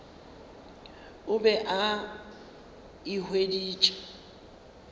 o be a e hweditše